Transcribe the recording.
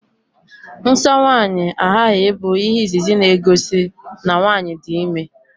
Nsọ nwaanyị aghaghị bụ ihe izizi na-egosi na nwaanyi dị ime